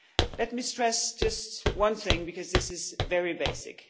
Let me stress just one thing, because this is very basic.